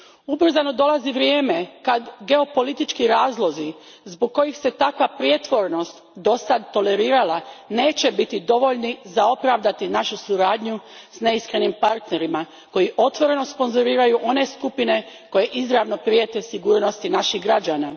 Ubrzano dolazi vrijeme kad geopolitički razlozi zbog kojih se takva prijetvornost dosad tolerirala neće biti dovoljni za opravdanje naše suradnje s neiskrenim partnerima koji otvoreno sponzoriraju one skupine koje izravno prijete sigurnosti naših građana.